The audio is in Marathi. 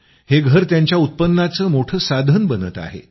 हे घर त्यांच्या उत्पन्नाचं मोठं साधन बनत आहे